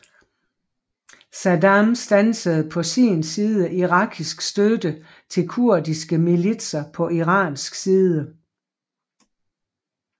Saddam stansede på sin side irakisk støtte til kurdiske militser på iransk side